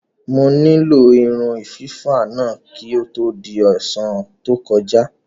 Mo nílò irun fífá náà kí ó tó di ọ̀sán tó kọjá.